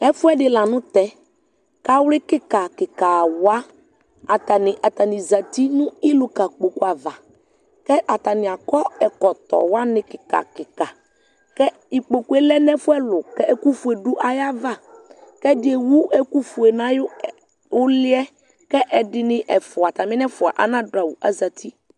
Ɛfʋɛdɩ la nʋ tɛ kʋ awlɩ kɩka kɩka wa, atanɩ atanɩ zati nʋ ɩlʋka kpoku ava kʋ atanɩ akɔ ɛkɔtɔ wanɩ kɩka kɩka kʋ ikpoku yɛ lɛ nʋ ɛfʋ ɛlʋ kʋ ɛkʋfue ayava kʋ ɛdɩ ewu ɛkʋfue nʋ ayʋ ɛ ʋlɩ yɛ, kʋ ɛdɩnɩ ɛfʋa atamɩ nʋ ɛfʋa, anadʋ awʋ kʋ azati